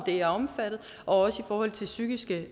er omfattet og også i forhold til psykiske